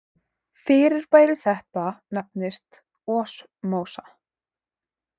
Fyrirbæri þetta nefnist osmósa.